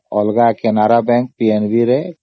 ଅଲଗା canada bank ଏବଂ PNB ରେ